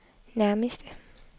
nærmeste